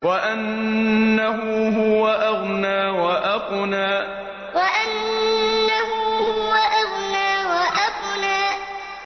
وَأَنَّهُ هُوَ أَغْنَىٰ وَأَقْنَىٰ وَأَنَّهُ هُوَ أَغْنَىٰ وَأَقْنَىٰ